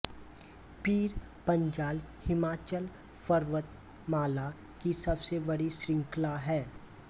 पीर पंजाल हिमाचल पर्वतमाला की सबसे बड़ी शृंखला है